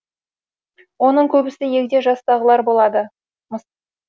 оның көбісі егде жастағылар болады мыс